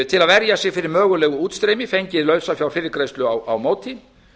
til að verja sig fyrir mögulegu útstreymi fengið lausafjárfyrirgreiðslu á móti